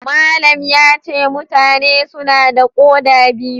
Malam yace mutane suna da koda biyu.